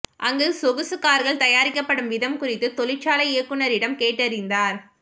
அங்கு சொகுசு கார்கள் தயாரிக்கப்படும் விதம் குறித்து தொழிற்சாலை இயக்குநரிடம் கேட்டறிந்தார்